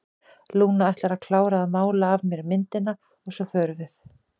Lúna ætlar að klára að mála af mér myndina og svo förum við.